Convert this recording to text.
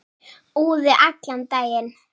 Úði allan daginn.